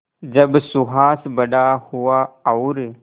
जब सुहास बड़ा हुआ और